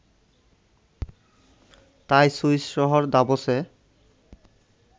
তাই সুইস শহর দাভোসে